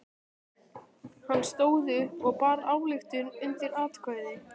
Hann stóð upp og bar ályktun undir atkvæði.